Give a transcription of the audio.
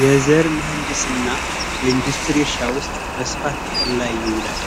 የዘር መድስ እና በኢንዱስትሪ እርሻ ውስጥ ጥቅም ላይ ይውላል